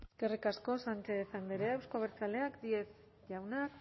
eskerrik asko sánchez andrea euzko abertzaleak díez jauna